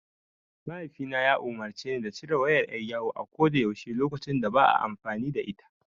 Mahaifina ya umurce ni da cire wayar ƴar yawo a ko da yaushe lokacin da ba a amfani da ita.